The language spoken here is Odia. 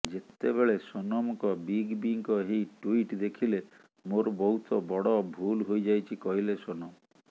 ଯେତେବେଳେ ସୋନମଙ୍କ ବିଗ ବିଙ୍କ ଏହି ଟ୍ୱିଟ୍ ଦେଖିଲେ ମୋର ବହୁତ ବଡ ଭୁଲ ହୋଇଯାଇଛି କହିଲେ ସୋନମ